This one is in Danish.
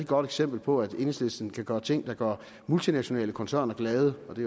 godt eksempel på at enhedslisten kan gøre ting der gør multinationale koncerner glade og det